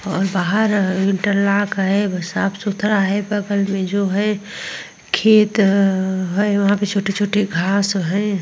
और बाहर इंटरलॉक है। साफ सुथरा है। बगल में जो है खेत है। वहाँ पे छोटे छोटे घास हैं।